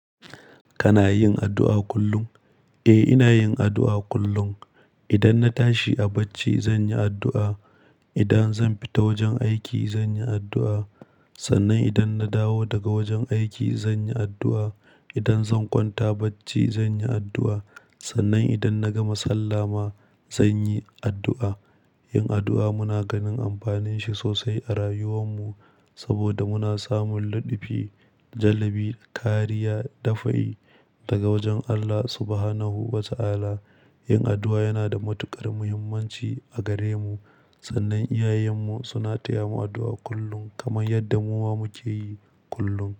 Kana yin addu'a kullum? Eh, ina yin addu'a kullum. Idan na tashi a bacci, zan yi addu'a. Idan zan fita wajen aiki, zan yi addu'a. Sannan idan na dawo daga wajen aiki, zan yi addu'a. Idan zan kwanta bacci, zan yi addu'a. Sannan idan na gama sallah ma, zan yi addu'a. Yin addu'a muna ganin amfanin shi sosai a rayuwan mu saboda muna samun ladabi, jallabi, kariya, dafa'i daga wajen Allah Subhanahu wa Ta'ala. Yin addu'a yana da matuƙar muhimmanci a gare mu. Sannan, iyayen mu suna taya mu addu'a kullum kamar yadda mu ma muke yi kullum.